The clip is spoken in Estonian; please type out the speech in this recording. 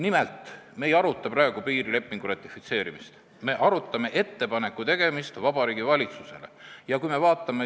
Nimelt, me ei aruta praegu piirilepingu ratifitseerimist, me arutame ettepaneku tegemist Vabariigi Valitsusele.